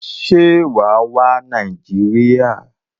Se wàá wá Nàìjíríà?